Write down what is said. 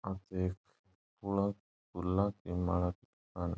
आ तो एक पीला फुला की माला --